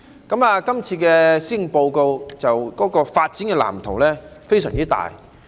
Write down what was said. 這份施政報告的發展藍圖非常大。